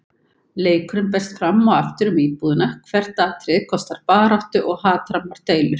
Leikurinn berst fram og aftur um íbúðina, hvert atriði kostar baráttu og hatrammar deilur.